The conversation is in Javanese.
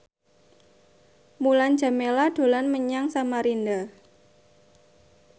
Mulan Jameela dolan menyang Samarinda